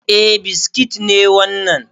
Eh biskit ne wannan